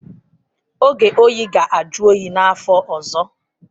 Oge oyi ga-ajụ oyi n'afọ ọzọ.